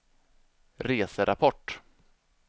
reserapport